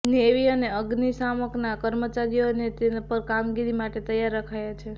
navy અને અગ્નિશામકના કર્મચારીઓને પર કામગીરી માટે તૈયાર રખાયા છે